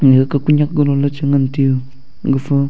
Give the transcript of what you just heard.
yaka kunyak golo la chi ngan tiyu gafa.